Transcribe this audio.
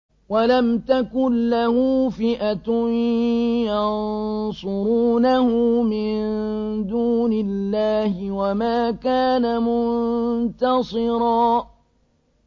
وَلَمْ تَكُن لَّهُ فِئَةٌ يَنصُرُونَهُ مِن دُونِ اللَّهِ وَمَا كَانَ مُنتَصِرًا